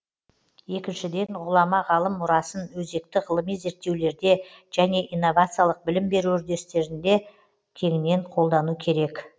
екіншіден ғұлама ғалым мұрасын өзекті ғылыми зерттеулерде және инновациялық білім беру үдерістерінде кеңінен қолдану керек